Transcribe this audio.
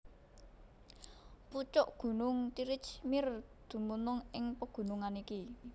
Pucuk gunung Tirich Mir dumunung ing pagunungan iki